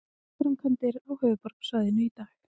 Vegaframkvæmdir á höfuðborgarsvæðinu í dag